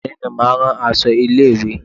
Òní ni a máa rán aṣọ ilé ìwé y.